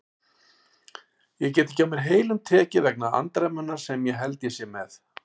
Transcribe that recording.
Ég get ekki á heilum mér tekið vegna andremmunnar sem ég held ég sé með.